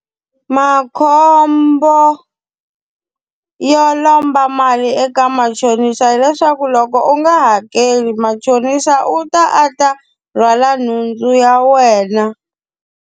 Makhombo yo lomba mali eka machonisa hileswaku loko u nga hakeli machonisa u ta a ta rhwala nhundzu ya wena.